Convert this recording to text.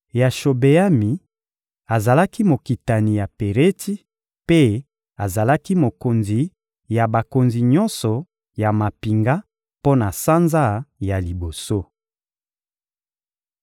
Yashobeami azalaki mokitani ya Peretsi mpe azalaki mokonzi ya bakonzi nyonso ya mampinga mpo na sanza ya liboso.